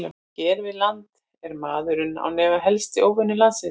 Hér við land er maðurinn án efa helsti óvinur lundans.